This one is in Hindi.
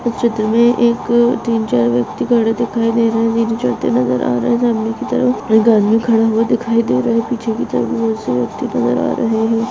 इस चित्र में एक तीन चार व्यक्ति खड़े दिखायी दे रहे है सामने की तरफ एक आदमी खड़ा हुआ दिखाई दे रहा है पिछे की तरफ नजर आ रहे है।